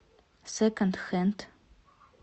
секонд хенд